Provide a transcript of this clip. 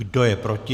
Kdo je proti?